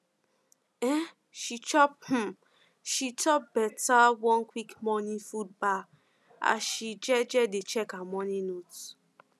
um she chop um she chop um one quick morning food bar as she um dey check her morning notes